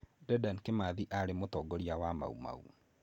Dedan Kimathi aarĩ mũtongoria wa Mau Mau.